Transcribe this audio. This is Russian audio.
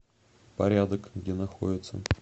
порядок где находится